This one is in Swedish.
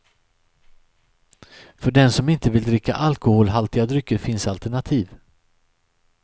För den som inte vill dricka alkoholhaltiga drycker finns alternativ.